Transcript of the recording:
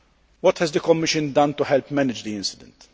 What has the Commission done to help manage the incident?